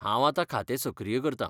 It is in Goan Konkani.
हांंव आतां खातें सक्रिय करतां.